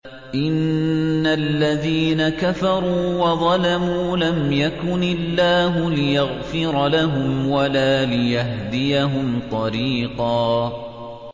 إِنَّ الَّذِينَ كَفَرُوا وَظَلَمُوا لَمْ يَكُنِ اللَّهُ لِيَغْفِرَ لَهُمْ وَلَا لِيَهْدِيَهُمْ طَرِيقًا